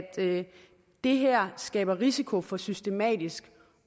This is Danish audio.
det her skaber risiko for systematisk